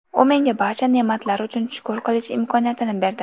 U menga barcha ne’matlar uchun shukr qilish imkoniyatini berdi.